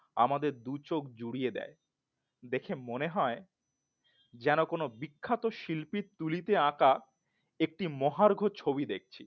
আমাদের দুচোখ জুড়িয়ে দেয়। দেখে মনে হয় যেন কোন বিখ্যাত শিল্পীর তুলিতে আঁকা একটি মহার্ঘ ছবি দেখছি